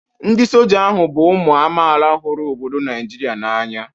Ndị Soja ahụ bụ ụmụ amaala huru obodo Naijiria n'anya.